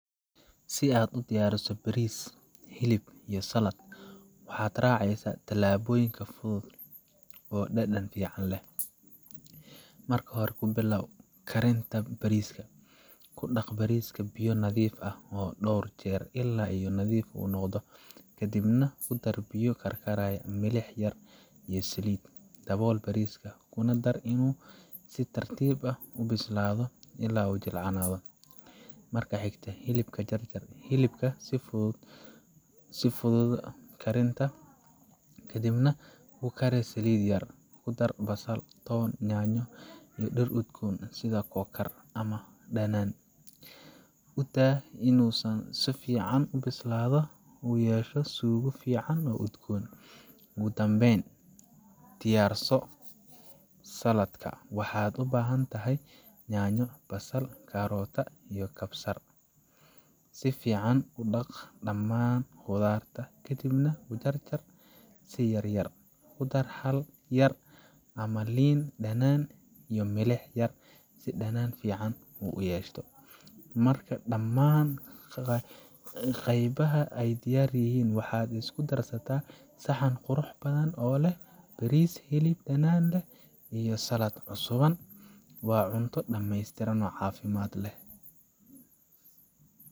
Si aad u diyaariso bariis, hilib, iyo saladh, waxaad raacaysaa tallaabooyin fudud oo dhadhan fiican leh. Marka hore, ku billow karinta bariiska: ku dhaq bariiska biyo nadiif ah dhowr jeer ilaa uu nadiifo noqdo, kadibna ku dar biyo karkaraya, milix yar iyo saliid. Dabool bariiska, kuna daa inuu si tartiib ah u bislaado ilaa uu jilcanado. Marka xigta, hilibka: jarjar hilibka si uu u fududaado karintiisa, kadibna ku kari saliid yar, ku dar basal, toon, yaanyo, iyo dhir udgoon sida kookar ama dhanaan. U daa in uu si fiican u bislaado oo uu yeesho suugo fiican oo udgoon. Ugu dambayn, diyaarso saladhka: waxaad u baahan tahay yaanyo, basal, karootada, iyo kabsar . Si fiican u dhaq dhammaan khudradda kadibna u jarjar si yaryar. Ku dar khal yar ama liin dhanaan, iyo milix yar si dhadhan fiican u yeeshto. Marka dhammaan qaybaha ay diyaar yihiin, waxaad isku darsataa saxan qurux badan oo leh bariis, hilib dhadhan leh, iyo saladh cusuban waa cunto dhameystiran, caafimaad leh.